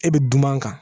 E bɛ dunan kan